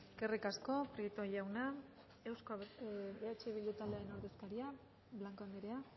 eskerrik asko prieto jauna eh bildu taldearen ordezkaria blanco andrea